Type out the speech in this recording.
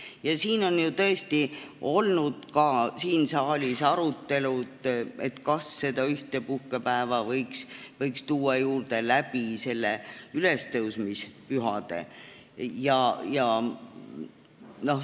Ka siin saalis on olnud arutelud, kas võiks tuua juurde ühe puhkepäeva ülestõusmispühade ajal.